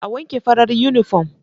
A wanke farar yunifom.